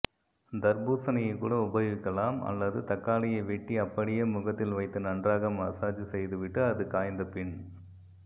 தர்பூசணியைகூட உபயோகிக்கலாம் அல்லது தக்காளியை வெட்டி அப்படியே முகத்தில் வைத்து நன்றாக மசாஜ் செய்துவிட்டு அது காய்ந்தபின்